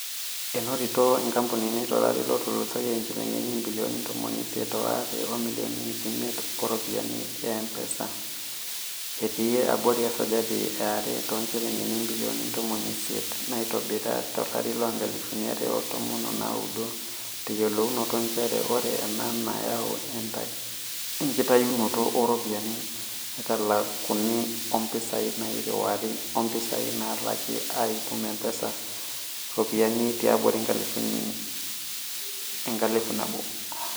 Enotito enkampuni tolari lotulusoyia injilingini ibilioni ntomoni isiet o are o milioni iip omiet tooropiyiani e mpesa, etii abori esajati e are too njilingini ibilioni ntomon isiet naitobira to larii loonkalifuni are o tomon onaudo, teyiolounoto njere oree ena neyau enkitayunoto ooropiyiani naaitalakuni oompisai nairiwari o mpisai laalaki aitumia mpesa too ropiyiani tiabori enkalifu nabo.